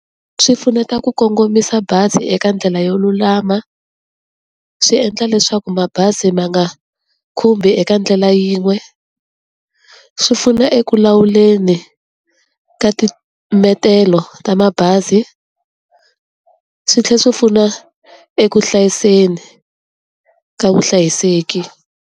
Swi pfuneta ku kongomisa bazi eka ndlela yo lulama, swi endla leswaku mabazi ma nga khumbi eka ndlela yin'we, swi pfuna eku lawuleni ka timetelo ta mabazi, swi tlhe swi pfuna eku hlayiseni ka vuhlayiseki.